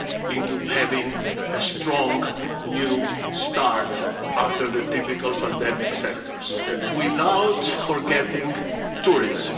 into having a strong new start after the difficult pandemic sectors without forgetting tourists.